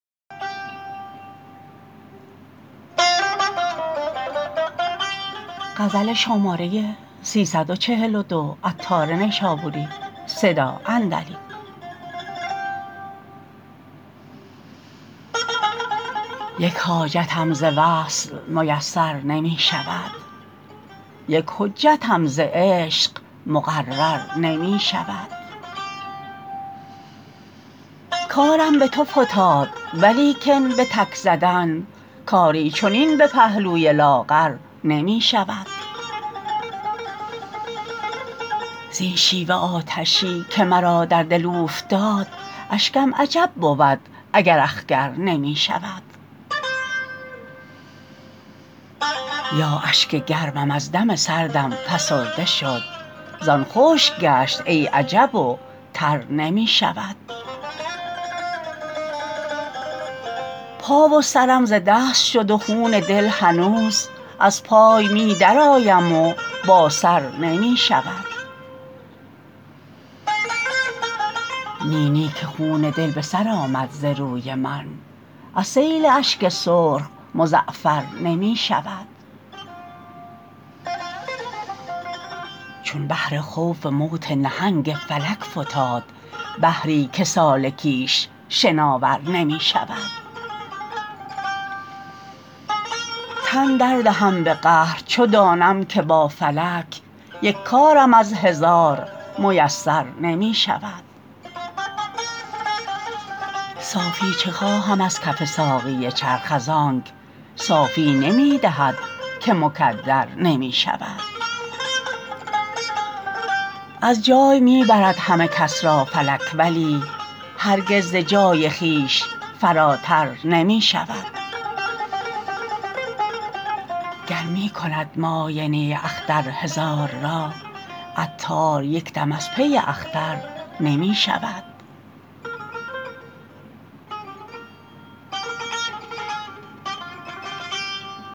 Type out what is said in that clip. یک حاجتم ز وصل میسر نمی شود یک حجتم ز عشق مقرر نمی شود کارم به تو فتاد ولیکن به تک زدن کاری چنین به پهلوی لاغر نمی شود زین شیوه آتشی که مرا در دل اوفتاد اشکم عجب بود اگر اخگر نمی شود تا اشک گرمم از دم سردم فسرده شد زان خشک گشت ای عجب و تر نمی شود پا و سرم ز دست شد و خون دل هنوز از پای می درآیم و با سر نمی شود نی نی که خون دل به سر آمد ز روی من از سیل اشک سرخ مزعفر نمی شود چون بحر خوف موت نهنگ فلک فتاد بحری که سالکیش شناور نمی شود تن دردهم به قهر چو دانم که با فلک یک کارم از هزار میسر نمی شود صافی چه خواهم از کف ساقی چرخ از آنک صافی نمی دهد که مکدر نمی شود از جای می برد همه کس را فلک ولی هرگز ز جای خویش فراتر نمی شود گر پی کند معاینه اختر هزار را عطار یکدم از پی اختر نمی شود